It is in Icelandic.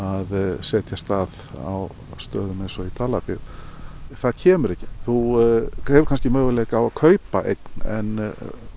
setjast að á stöðum eins og í Dalabyggð það kemur þú hefur kannski möguleika á að kaupa eign en